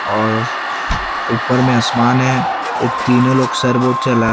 और ऊपर में आसमान है तीनों लोग सरवोट चला--